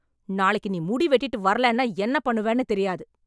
நாளைக்கு நீ முடி வெட்டிட்டு வரலன்னா என்ன பண்ணுவன்னு தெரியாது